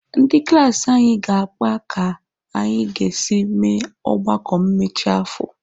Ndị klaasị anyị ga-akpa ka anyị ga-esi mee ọgbakọ mmechi afọ.